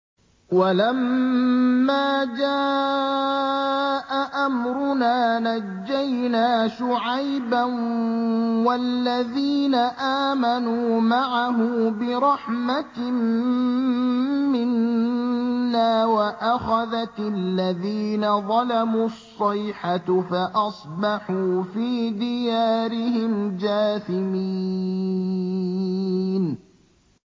وَلَمَّا جَاءَ أَمْرُنَا نَجَّيْنَا شُعَيْبًا وَالَّذِينَ آمَنُوا مَعَهُ بِرَحْمَةٍ مِّنَّا وَأَخَذَتِ الَّذِينَ ظَلَمُوا الصَّيْحَةُ فَأَصْبَحُوا فِي دِيَارِهِمْ جَاثِمِينَ